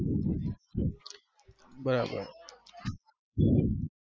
બરાબર